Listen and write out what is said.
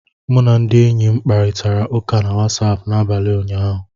M na ndị enyi m kparịtara ụka na Wasapụ n'abalị ụnyaahụ